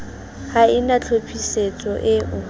ha e na tlhophisetso eo